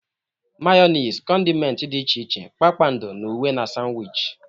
Mayonezi, condimenti dị iche iche, kpakpando na uwe na Sanwichi.